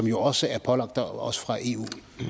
jo også er pålagt os fra eu